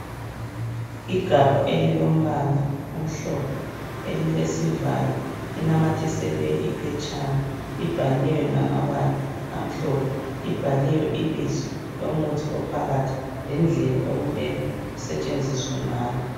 Igabha elilombala omhlophe elilesivalo .Linamathiselwe iphetshana .Libhaliwe ngamabala amhlophe .Libhaliwe ibizo lomuthi ophakathi lendlela okumele usetshenziswe ngayo .